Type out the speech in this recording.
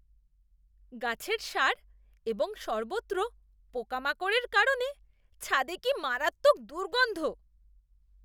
গাছের সার এবং সর্বত্র পোকামাকড়ের কারণে ছাদে কী মারাত্মক দুর্গন্ধ!